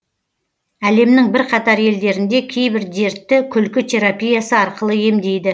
әлемнің бірқатар елдерінде кейбір дертті күлкі терапиясы арқылы емдейді